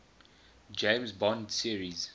james bond series